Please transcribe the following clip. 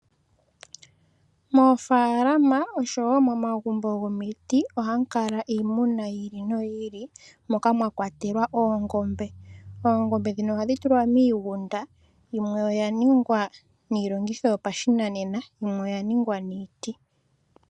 Moofalama osho wo momagumbo gomiti oha mu kala iimuna yiili noyiili, moka mwakwatelwa oongombe. Oongombe ndhino ohadhi tulwa miigunda, yimwe oya ningwa niilongitho yopashinanena yimwe oya ningwa niiti.